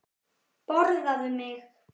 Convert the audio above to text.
Borðaðu mig!